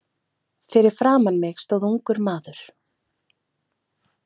Fyrir framan mig stóð ungur maður.